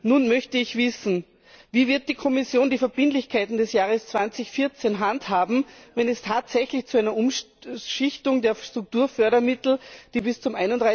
Nun möchte ich wissen Wie wird die Kommission die Verbindlichkeiten des Jahres 2014 handhaben, wenn es tatsächlich zu einer Umschichtung der Strukturfördermittel kommt, die bis zum